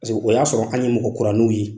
Paseke o y'a sɔrɔ an ye mɔgɔ kuraninw ye.